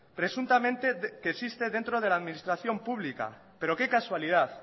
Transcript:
presuntamente que existe dentro de la administración pública pero qué casualidad